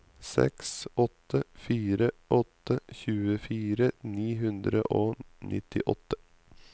seks åtte fire åtte tjuefire ni hundre og nittiåtte